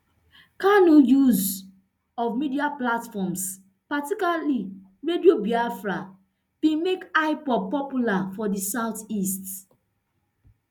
kanu use of media platforms particularly radio biafra bin make ipob popular for di southeast